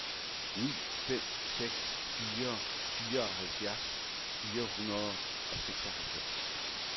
ni fem seks fire fireoghalvfjerds fire hundrede og seksoghalvfems